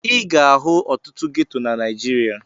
Ị ga-ahụ ọtụtụ geto na Naịjirịa.